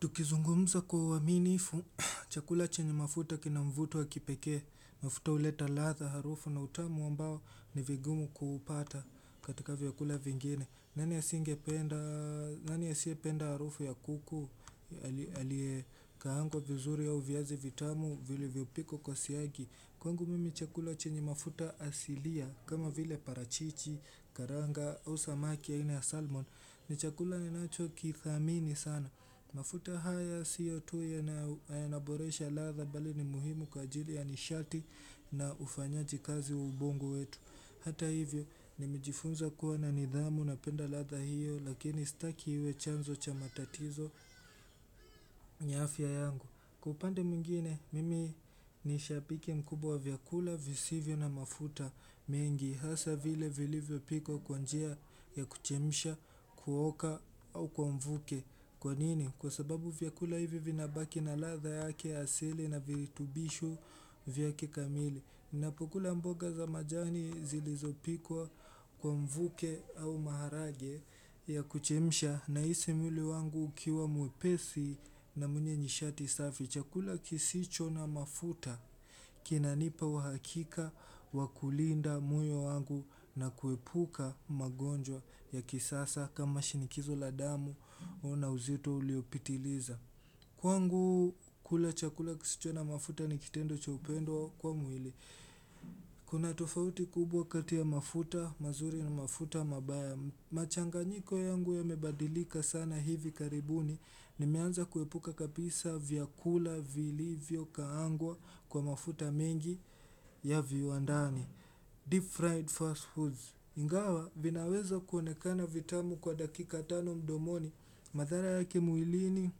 Tukizungumza kwa uaminifu, chakula chenye mafuta kina mvuto wa kipeke, mafuta huleta ladha harufu na utamu ambao ni vigumu kuupata katika vyakula vingine. Nani asingependa, nani asiyependa harufu ya kuku, aliyekaangwa vizuri au viazi vitamu vilivyopikwa kwa siagi. Kwangu mimi chakula chenye mafuta asilia, kama vile parachichi, karanga, au samaki aina ya salmon, ni chakula ninachokithamini sana. Mafuta haya sio tu yanaboresha ladha bali ni muhimu kwa ajili ya nishati na ufanyaji kazi wa ubongo wetu. Hata hivyo, nimejifunza kuwa na nidhamu napenda ladha hiyo lakini sitaki iwe chanzo cha matatizo ya afya yangu Kwa upande mwingine mimi nishabike mkubwa wa vyakula visivyo na mafuta mengi hasa vile vilivyo pikwa kwanjia ya kuchemisha kuoka au kwa mvuke Kwa nini? Kwa sababu vyakula hivi vinabaki na ladha yake asili na viritubishu vyake kamili ninapokula mboga za majani zilizopikwa kwa mvuke au maharage ya kuchemsha nahisi mwili wangu ukiwa mwepesi na mwenye nishati safi. Chakula kisicho na mafuta, kinanipa uhakika, wa kulinda moyo wangu na kuepuka magonjwa ya kisasa kama shinikizo la damu, oh na uzito uliopitiliza. Kwangu kula chakula kisicho na mafuta ni kitendo cha upendo kwa mwili. Kuna tofauti kubwa kati ya mafuta, mazuri na mafuta mabaya. Machanganyiko yangu yamebadilika sana hivi karibuni, nimeanza kuepuka kabisa vyakula vilivyokaangwa kwa mafuta mengi ya viwandani deep Fried Fast Foods. Ingawa vinaweza kuonekana vitamu kwa dakika tano mdomoni, madhara yake mwilini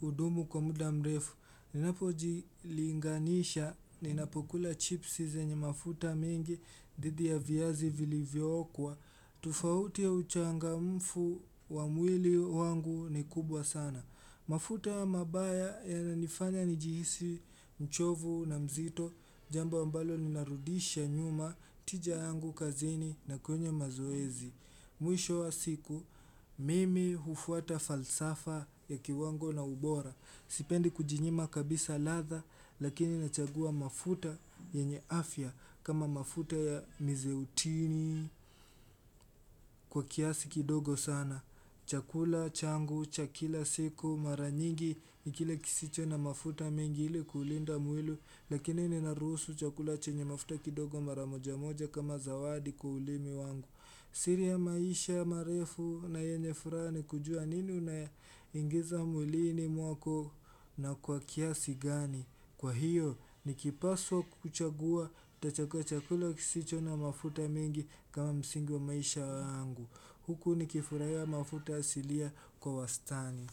hudumu kwa muda mrefu. Ninapojilinganisha ninapokula chipsi zenye mafuta mengi dhidi ya viyazi vilivyo okwa tofauti ya uchangamfu wa mwili wangu ni kubwa sana. Mafuta mabaya yananifanya nijihisi mchovu na mzito, Jambo ambalo linarudisha nyuma tija yangu kazini na kwenye mazoezi Mwisho wa siku, mimi ufuata falsafa ya kiwango na ubora. Sipendi kujinyima kabisa ladha, lakini nachagua mafuta yenye afya. Kama mafuta ya mizeutini kwa kiasi kidogo sana. Chakula, changu, cha kila siku mara nyingi, ni kile kisicho na mafuta mengi ili kuulinda mwili. Lakini ninaruhusu chakula chenye mafuta kidogo mara moja moja kama zawadi kwa ulimi wangu siri ya maisha, marefu na yenye furaha ni kujua nini unaingiza mwilini mwako na kwa kiasi gani. Kwa hiyo. Nikipaswa kuchagua tachagua chakula kisicho na mafuta mengi kama msingi wa maisha yangu. Huku nikifurahia mafuta asilia kwa wastani.